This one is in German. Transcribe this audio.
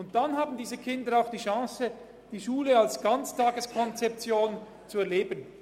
Dann haben diese Kinder die Chance, die Schule als Ganztageskonzeption zu erleben.